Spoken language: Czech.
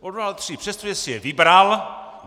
Odvolal tři, přestože si je vybral.